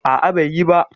A'a, bai yi ba.